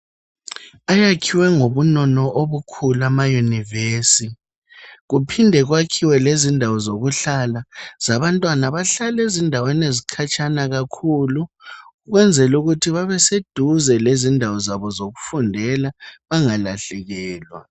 Ayakhiwe ngobunono obukhulu, amayunivesi. Kuphinde kwakhiwe lendawo zokuhlala. Zabantwana abahlala ezindaweni ezikhatshana kakhulu. Ukwenzela ukuthi babeseduze lendawo zabo zokufundela. Bangalahlekelwa,